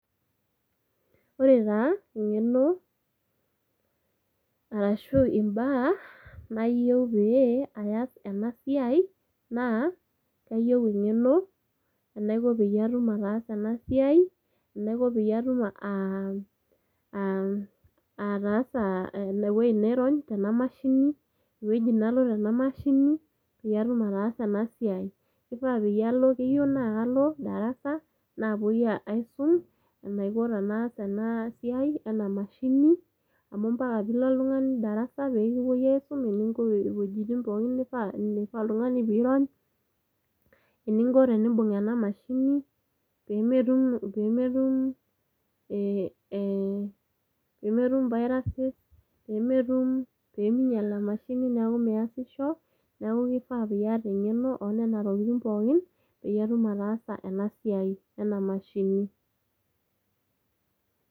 Ore taa engeno arashu imbaa nayieu pee aas ena siai naa kayieu engeno enayieu enaiko patum ataasaena siai, enatum peyie aiko aa ataasa ine wueji tenairony tena mashini, ewueji nalo tena mashini peyie atum ataasa ena siai. Kifaa peyie alo, keyieu naa kalo darasa ,napuoi aisum enaiko tenaas ena siai ena mashini amu mpaka pilo oltungani darasa peekipuo aisum eninko wuejitin pookin nifaa oltungani pirony, eninko pibung ena mashini pemetum pemetum ee pemetum viruses, pemetum peminyial emashini niaku miasisho . Niaku kifaa piata engeno onena tokitin pookin pitum taasa ena siai ena ,mashini.